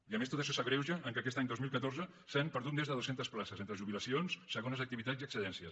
i a més tot això s’agreuja amb el fet que aquest any dos mil catorze s’han perdut més de dues centes places entre jubilacions segones activitats i excedències